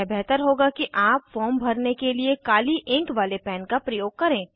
यह बेहतर होगा कि आप फॉर्म भरने के लिए काली इंक वाले पैन का प्रयोग करें